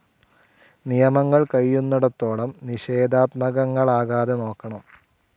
നിയമങ്ങൾ കഴിയുന്നിടത്തോളം നിഷേധാത്മകങ്ങളാക്കാതെ നോക്കണം.